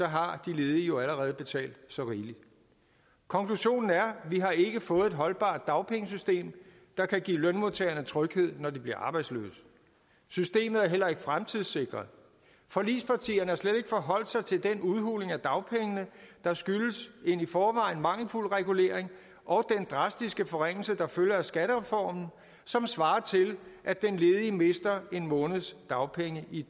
har de ledige jo allerede betalt så rigeligt konklusionen er vi har ikke fået et holdbart dagpengesystem der kan give lønmodtagerne tryghed når de bliver arbejdsløse systemet er heller ikke fremtidssikret forligspartierne har slet ikke forholdt sig til den udhuling af dagpengene der skyldes en i forvejen mangelfuld regulering og den drastiske forringelse der følger af skattereformen og som svarer til at den ledige mister en måneds dagpenge i